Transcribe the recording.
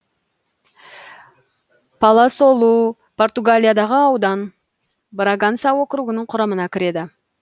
паласолу португалиядағы аудан браганса округінің құрамына кіреді